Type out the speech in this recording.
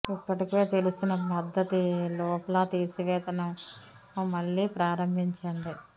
ఇప్పటికే తెలిసిన పద్ధతి లూప్ల తీసివేత ని మళ్లీ ప్రారంభించండి